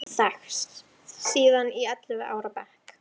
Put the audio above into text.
Við höfum þekkst síðan í ellefu ára bekk.